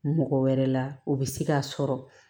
Mɔgɔ wɛrɛ la o bɛ se k'a sɔrɔ